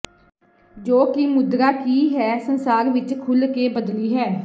ਜੋ ਕਿ ਮੁਦਰਾ ਕੀ ਹੈ ਸੰਸਾਰ ਵਿਚ ਖੁੱਲ੍ਹ ਕੇ ਬਦਲੀ ਹੈ